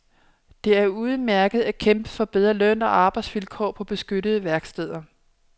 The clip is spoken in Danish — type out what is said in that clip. Det er udmærket at kæmpe for bedre løn og arbejdsvilkår på beskyttede værksteder.